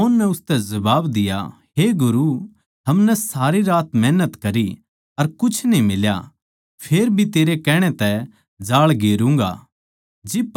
शमौन नै उसतै जबाब दिया हे गुरू हमनै सारी रात मैहनत करी अर कुछ न्ही मिल्या फेरभी तेरै कहण तै जाळ गेरूँगा